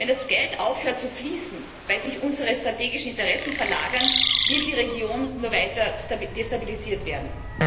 Wenn das Geld aufhört zu fließen, weil sich unsere strategischen Interessen verlagern, wird die Region nur weiter destabilisiert werden.